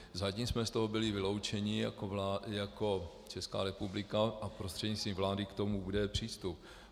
Zatím jsme z toho byli vyloučeni jako Česká republika a prostřednictvím vlády k tomu bude přístup.